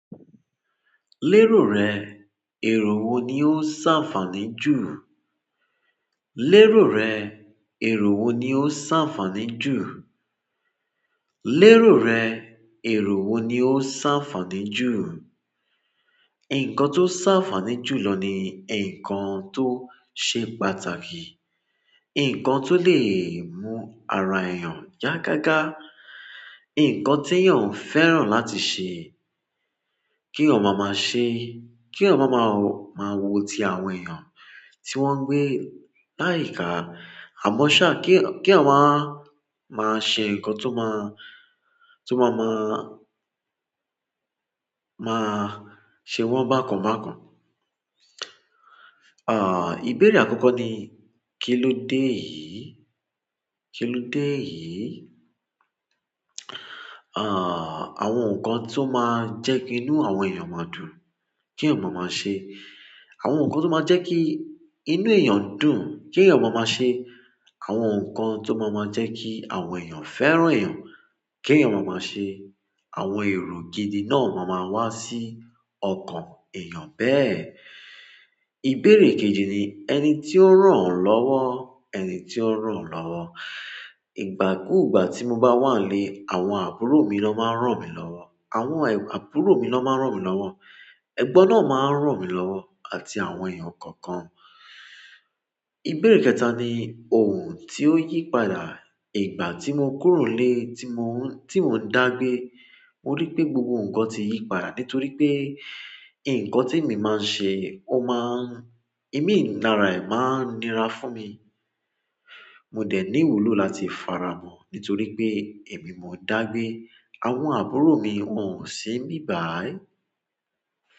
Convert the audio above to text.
Lérò rẹ̀, èrò wo ni ó ṣàfáaní jù? Lérò rẹ, èrò wo ni o ṣàfààní jù? Lérò rẹ, èrò wo ni o ṣàfààní jù? Nǹkan tó ṣàfáaní jù lọ ní nǹkan tó ṣe pàtàkì. Nǹkan tó lè mú ara èèyàn yá gágá. Nǹkan tí èèyàn ń fẹ́ràn láti ṣe, kí ọmọ máa ṣe, kí ọmọ máa, máa wò tí àwọn èèyàn tí wọ́n gbé láyìíká. Àmọ́ ṣá, kí, kí èèyàn máa, máa ṣe nǹkan tó máa, tó máa má, máa ṣe wọ́n bákan bákan. Ah, ìbéèrè àkọ́kọ́ ní, kí ló dé yìí? Kí ló dé yìí? Ah, àwọn nǹkan tó máa ń jẹ́ kí inú àwọn èèyàn máa dùn, kí èèyàn máa ṣe àwọn nǹkan tó máa ń jẹ́ kí inú èèyàn dùn, kí èèyàn má máa ṣe. Àwọn nǹkan tó máa má ń jẹ́ kí èèyàn fẹ́ràn èèyàn, kí èèyàn má máa ṣe. Àwọn èrò gidi náà máa máa wá sí ọkàn èèyàn bẹ́ẹ̀. Ìbéèrè kejì ni, ẹni tí ó ń ràn lọ́wọ́, ẹni tí ó ń ràn lọ́wọ́. Ìgbà kúùgbà tí mo bá wà nlé, àwọn àbúrò mi ló máa ń ràn mí lọ́wọ́. Àwọn àbúrò mi ló máa ń ràn mí lọ́wọ́. Ẹgbọ́n náà máa ń ràn mí lọ́wọ́ àti àwọn èèyàn kọ̀ọ̀kan. Ìbéèrè kẹta ni, ohun tí ó yí padà. Ìgbà tí mo kúrò lè, tí mò ń, tí mò ń dàgbe, mo rí pé gbogbo nǹkan tí yìí padà nítorí pé nǹkan tí ẹ̀mí máa ń ṣe ó máa ń, ẹ̀mí nlará ẹ máa ń nira fún mi. Mo dé ní ìwúlò láti faramọ́ nítorí pé èmi mo dàgbe, àwọn àbúrò mi ò sì níbayí.